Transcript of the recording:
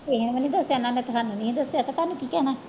ਕਿਸੇ ਨੂੰ ਵੀ ਨੀ ਦੱਸਿਆ ਇਹਨਾਂ ਨੇ ਤਾਂ ਸਾਨੂੰ ਵੀ ਨੀ ਦੱਸਿਆ ਤੇ ਤੁਹਾਨੂੰ ਕੀ ਕਹਿਣਾ।